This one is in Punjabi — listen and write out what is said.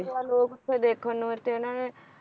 ਲੋਕ ਦੇਖਣ ਨੂੰ ਤੇ ਇਥੇ ਇਹਨਾਂ ਨੇ